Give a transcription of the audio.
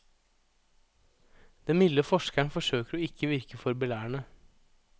Den milde forskeren forsøker å ikke virke for belærende.